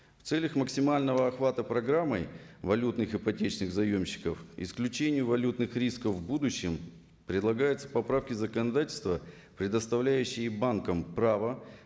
в целях максимального охвата программой валютных ипотечных заемщиков исключение валютных рисков в будущем предлагается поправки законодательства предоставляющиие банкам право